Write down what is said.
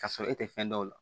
Ka sɔrɔ e tɛ fɛn dɔn o la